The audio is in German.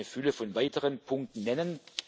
Ich könnte eine Fülle von weiteren Punkten nennen.